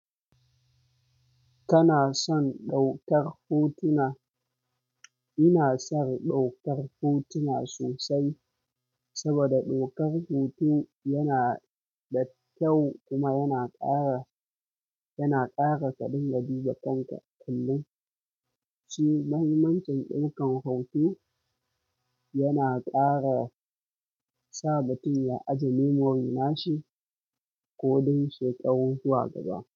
Kana son ɗaukar hotuna? Ina son ɗaukar hotuna sosai saboda ɗaukar hoto yana da kyau kuma yana ƙara, yana ƙara karin gari wa kanka. Kalli, shi mahimmancin ɗaukar hoto yana ƙara sa mutum ya ajiye memorin nashi kodan shekaru zuwa gaba.